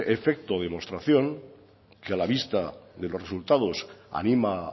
efecto demostración que a la vista de los resultados ánima